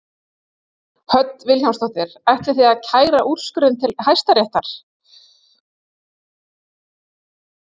Hödd Vilhjálmsdóttir: Ætlið þið að kæra úrskurðinn til Hæstaréttar?